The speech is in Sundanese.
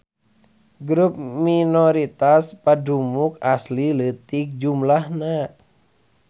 Grup minoritas padumuk asli leutik jumlahna.